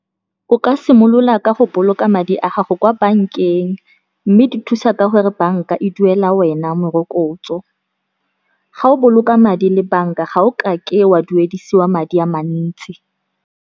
O ka simolola ka go boloka madi a gago kwa bankeng, mme di thusa ka gore banka e duela wena morokotso. Ga o boloka madi le banka, ga o kake wa duedisiwa madi a mantsi.